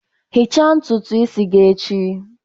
Ghichaa ntutu isi gị echi!